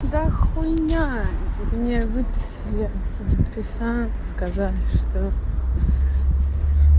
да хуйня мне выписали антидепрессанты сказали что